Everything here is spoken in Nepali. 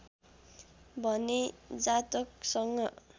भने जातकसँग